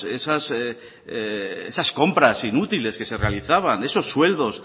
esas compras inútiles que se realizaban esos sueldos